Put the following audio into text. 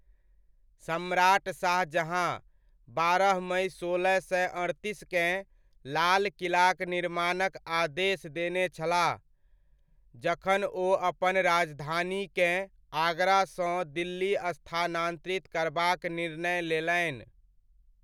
सम्राट शाहजहाँ, बारह मइ सोलह सए अड़तीसकेँ, लाल किलाक निर्माणक आदेश देने छलाह, जखन ओ अपन राजधानीकेँ आगरासँ दिल्ली स्थानान्तरित करबाक निर्णय लेलनि।